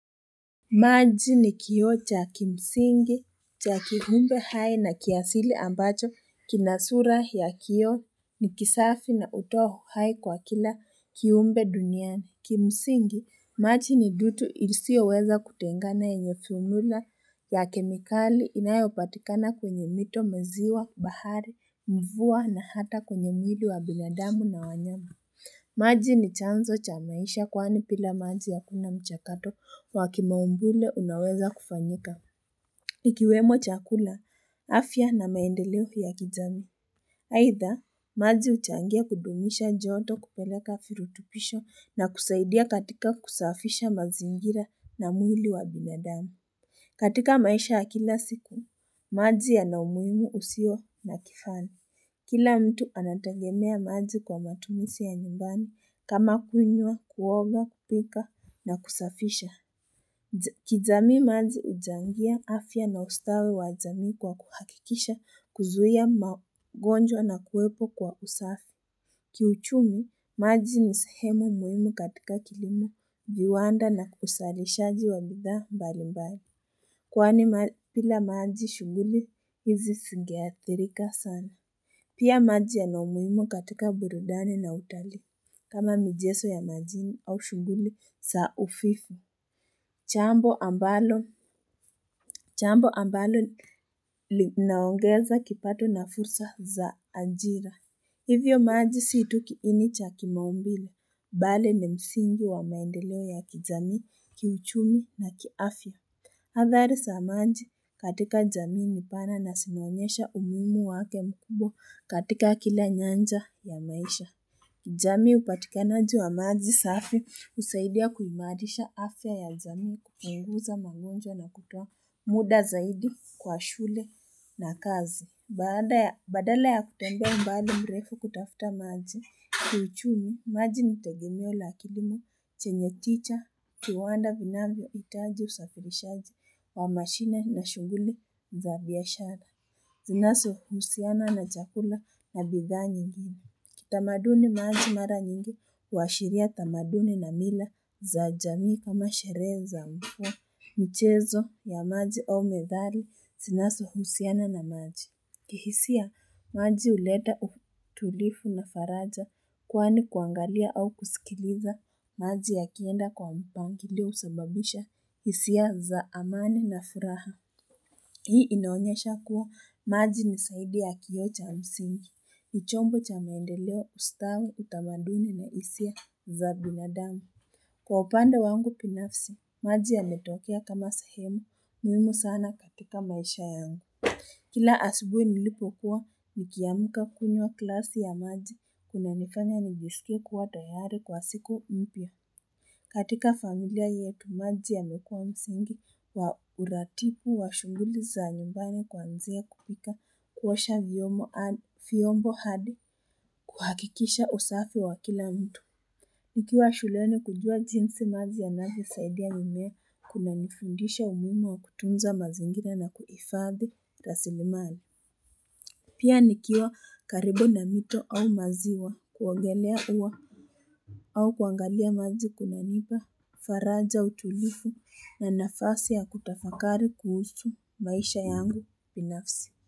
Maji ni kioo cha kimsingi cha kiumbe hai na kiasili ambacho kina sura ya kioo ni kisafi na hutoa uhai kwa kila kiumbe duniani kimsingi maji ni dutu isiyoweza kutengana yenye thunula ya kemikali inayopatikana kwenye mito maziwa bahari mvua na hata kwenye mwili wa binadamu na wanyama maji ni chanzo cha maisha kwani bila maji hakuna mchakato wa kimaumbile unaweza kufanyika ikiwemo chakula afya na maendeleo ya kijamii aidha maji huchangia kudumisha joto kupeleka virutubisho na kusaidia katika kusafisha mazingira na mwili wa binadamu katika maisha ya kila siku maji yana umuhimu usio na kifani kila mtu anategemea maji kwa matumizi ya nyumbani kama kunywa kuoga kupika na kusafisha kijamii maji huchangia afya na ustawi jamii kwa kuhakikisha kuzuia magonjwa na kuwepo kwa usafi kiuchumi maji ni sehemu muhimu katika kilimo viwanda na uzalishaji wa bidhaa mbalimbali kwani bila maji shughuli hizi zingeathirika sana pia maji yana umuhimu katika burudani na utalii kama michezo ya majini au shughuli za ufifu jambo ambalo linaongeza kipato na fursa za ajira hivyo maji si tu kiini cha kimaumbile bali ni msingi wa maendeleo ya kijamii kiuchumi na kiafya athari za maji katika jamii ni pana na zinaonyesha umuhimu wake mkubwa katika kila nyanja ya maisha jamii upatikanaji wa maji safi husaidia kuimarisha afya ya jamii kupunguza mangonjwa na kutoa muda zaidi kwa shule na kazi baada ya badala ya kutembea umbali mrefu kutafuta maji kiuchumi maji ni tegemeo la kilimo chenye tija kiwanda vinavyohitaji usafirishaji wa mashine na shughuli za biashara zinazohusiana na chakula na bidhaa nyingine kitamaduni maji mara nyingi huashiria tamaduni na mila za jamii kama sherehe za mvua michezo ya maji au methari zinazohusiana na maji kihisia maji huleta utulivu na faraja kwani kuangalia au kusikiliza maji yakienda kwa mpangilio husababisha hisia za amani na furaha hii inaonyesha kuwa maji ni zaidi ya kioo cha msingi ni ichombo cha maendeleo ustawi utamaduni na hisia za binadamu kwa upande wangu binafsi maji yametokea kama sahemu muhimu sana katika maisha yangu. Kila asubuhi nilipokuwa nikiamka kunywa glasi ya maji kunanifanya nijisike kuwa tayari kwa siku mpya katika familia yetu maji yamekuwa msingi wa uratibu wa shughuli za nyumbani kuanzia kupika kuosha vyombo hadi kuhakikisha usafi wa kila mtu nikiwa shuleni kujua jinsi maji yanavyosaidia mimea kunanifundisha umuhimu wa kutunza mazingira na kuhifadhi rasilimali pia nikiwa karibu na mito au maziwa kuogelea huwa au kuangalia maji kunanipa faraja utulivu na nafasi ya kutafakari kuhusu maisha yangu binafsi.